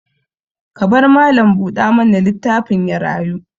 Ka bar mallam buɗa mana litaffin ya rayu.